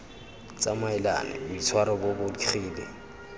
tsamaelane boitshwaro bo bo digile